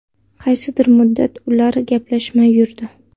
Qaysidir muddat ular gaplashmay yurdi.